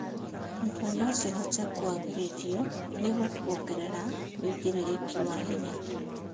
Nyũmba no cihote kũagĩrithio nĩguo kuongerera wĩigĩrĩrĩki wa hinya.